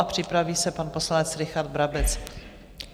A připraví se pan poslanec Richard Brabec.